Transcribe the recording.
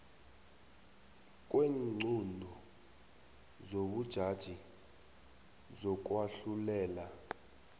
kweenqunto zobujaji zokwahlulela